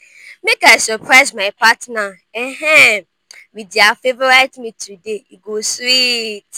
make i surprise my partner um with dia favorite meal today e go sweet.